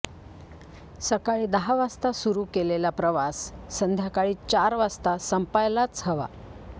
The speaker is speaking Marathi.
सकाळी दहा वाजता सुरू केलेला प्रवास संध्याकाळी चार वाजता संपायलाच हवा